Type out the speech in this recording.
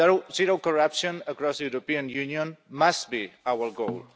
Zero corruption across the European Union must be our goal.